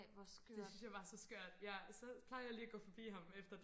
det synes jeg var så skørt ja så plejede jeg lige og gå forbi ham efter det